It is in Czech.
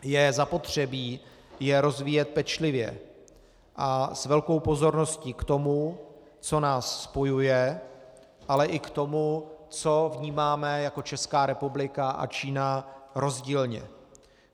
Je zapotřebí je rozvíjet pečlivě a s velkou pozorností k tomu, co nás spojuje, ale i k tomu, co vnímáme jako Česká republika a Čína rozdílně.